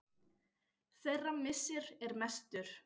Þeirra missir er mestur.